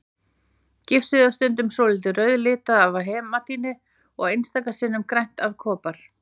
Gifsið er stundum svolítið rauðlitað af hematíti og einstaka sinnum grænt af kopar.